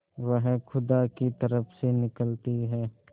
वह खुदा की तरफ से निकलती है